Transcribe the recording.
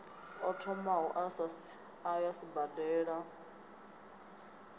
o thomaho a ya sibadela